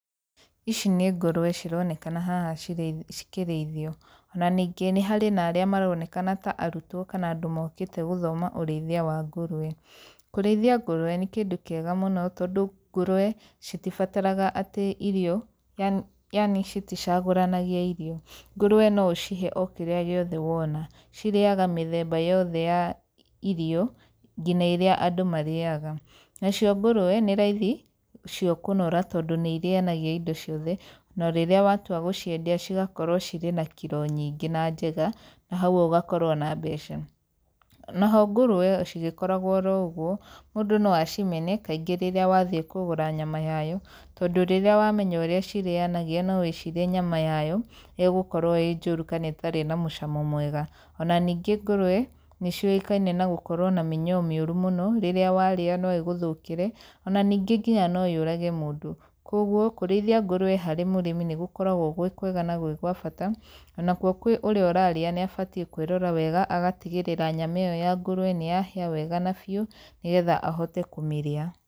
Ici nĩ ngũrũwe cironekana haha cikĩrĩithio. Ona ningĩ nĩ harĩ na arĩa maronekana ta arutwo kana andũ mũkĩte gũthoma urĩithia wa ngũrũwe. Kũrĩithia ngũrũwe nĩ kĩndũ kiega mũno tondũ ngũrũwe citibaraga atĩ irio, yani citicagũrania irio. Ngũrũwe no ũcihe kĩria ũrona, cirĩaga mĩtheba yothe ya irio, nginya ĩria andũ marĩaga nacio ngũrũwe nĩ raithi kũnora tondũ nĩ irienagia indo ciothe ona rĩria watua gũciendia cigakũrwo ciri na kiro nyige na njega, na hau ũgakorwo na mbeca. Naho cigĩkoragwo oro ũguo, mũndũ no acimene kaingĩ rĩrĩa wathĩi kũgũra nyama yayo tondũ rĩrĩa wamenya ũrĩa cirĩyanagia no wĩcirie nyama yayo ĩgũkorwo ĩ njoru kana ĩna mũcamo mwega, ona ningĩ ngũrũwe nĩ cionekane na gũkũrwo ina mĩnyoo rĩrĩa waria no igũthũkĩre ona ninge no ĩyũrage mũndu, kũguo kũrĩithia ngũrũwe harĩ mũrĩmi nĩ gũkoragwo gwĩ kwega na gwa bata ona kwo kwe kurĩa ũrarĩa nĩ abatie kũĩrora wega agatigĩrĩra nyama ĩyo ya ngũrũwe nĩ ya hĩa wega na biũ nĩgetha ahote kumĩrĩa.